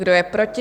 Kdo je proti?